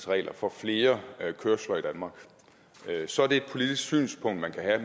regler for flere kørsler i danmark så er det et politisk synspunkt man kan have